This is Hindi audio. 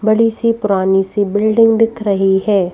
बड़ी सी पुरानी सी बिल्डिंग दिख रही है।